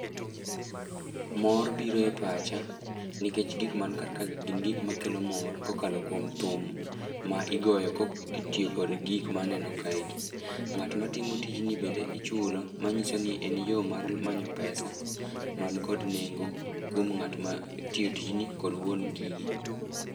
Mor biro e pacha, nikech gik mani karkae gin gik ma kelo mor kokalo kuom thum ma igoyo ko kitiyo kod gik ma aneno kae gi. Ngát ma timo tijni bende ichulo, ma nyiso ni e yo mar manyo pesa, mani kod nengo kuom ngát ma tiyo tijni kod wuon gigi.